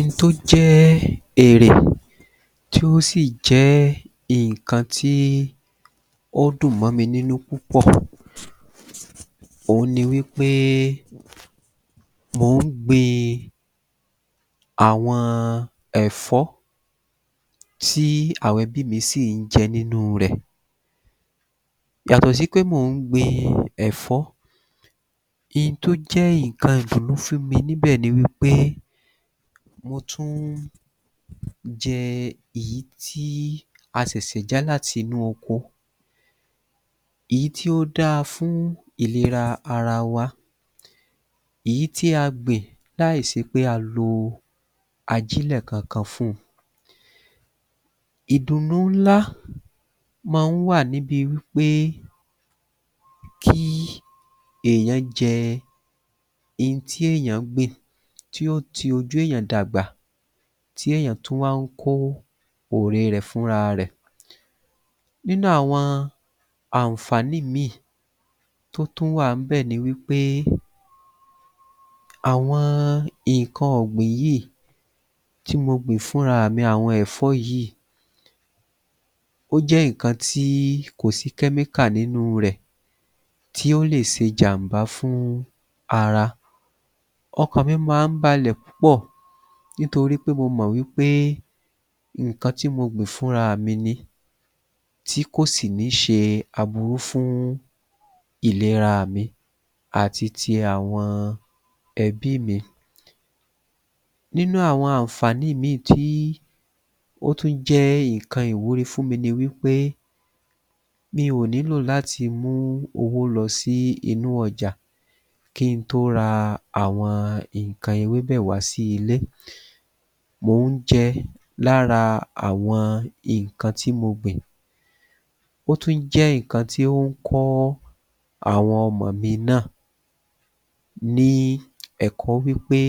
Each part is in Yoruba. N tó jẹ́ èrè tí ó sì jẹ́ nǹkan tí ó dùn mọ́ mi nínú púpọ̀ òhun ni wí pé mò ń gbin àwọn ẹ̀fọ́ tí àwọn ẹbị́ mi sì ń jẹ nínúu rẹ̀ Yàtọ̀ sí pé mò ń gbin ẹ̀fọ́ n tó jẹ́ nǹkan ìdùnnú fún mi níbẹ̀ ni wí pé mo tún jẹ́ èyí tí a ṣẹ̀ṣẹ̀ ja láti inú oko èyí tí ó dáa fún ìlera ara wa èyí tí a gbìn láìṣe pé a lo ajílẹ̀ kankan fún-un Ìdùnnú ńlá ma ń wà níbi wí pé kí èèyàn jẹ n tí èèyàn gbìn tí ó ti ojú èèyàn dàgbà, tí èèyàn tún wá ń kó ẹ̀re rẹ̀ fúnrarẹ̀ Nínú àwọn ànfàní míì tó tún wà ń bẹ̀ ni wí pé àwọn nǹkan ọ̀gbìn yìí tí mo gbìn fún raàmi àwọn ẹ̀fọ́ yìí, ó jẹ́ nǹkan tí kò sí [Chemical] nínúu rẹ̀ tí ó lè ṣe jànbá fún ara Ọkàn mi ma ń balẹ̀ púpọ̀ nítorí pé mo mò wí pé nǹkan tí mo gbìn fún raàmi ni tí kò sì ní ṣe aburú fún ìleraà mi àti ti àwọn ẹbí mi Nínú àwọn ànfàní ìmíì tí ó tún jẹ́ nǹkan ìwúrí fún mi ni wí pé mi ò nílò láti mú owó lọ sí inú ọjà kí n tó ra àwọn nǹkan ewébẹ̀ wá sí ilé mò ń jẹ́ lára àwọn nǹkan tí mo gbìn Ó tún jẹ́ nǹkan tí ó ń kọ́ àwọn ọmọ̀ mi náà ní ẹ̀kọ́ wí pé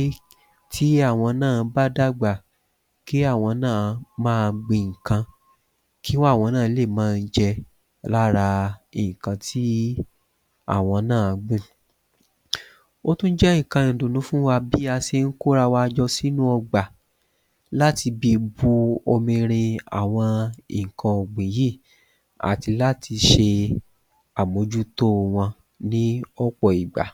tí àwọn náà bá dàgbà kí àwọn náà má a gbin nǹkan kí àwọn náà lè má a jẹ lára nǹkan tí àwọn náà gbìn Ó tún jẹ́ nǹkan ìdùnnú fún wa bí a ṣe ń kó arawa jọ sínú ọgbà láti bi bu bomirin àwọn nǹkan ọ̀gbìn yìí àti láti ṣe àmójútóo wọn ní ọ̀pọ̀ ìgbà